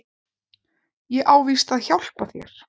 Ég á víst að hjálpa þér.